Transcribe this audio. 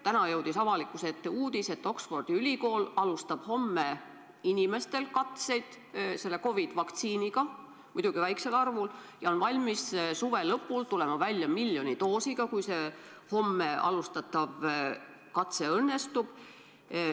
Täna jõudis avalikkuse ette uudis, et Oxfordi ülikool alustab homme inimestel katseid COVID-i vaktsiiniga, muidugi väikesel arvul, ja on valmis suve lõpul tulema välja miljoni doosiga, kui see homme alustatav katse õnnestub.